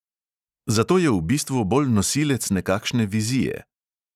Zato je v bistvu bolj nosilec nekakšne vizije.